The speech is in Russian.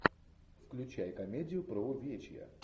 включай комедию про увечья